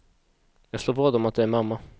Jag slår vad om att det är mamma.